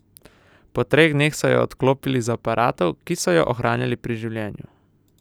Po treh dneh so jo odklopili z aparatov, ki so jo ohranjali pri življenju.